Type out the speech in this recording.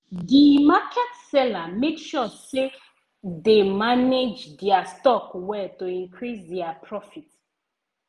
di market seller make sure say dey manage dia stock well to increase dia profit.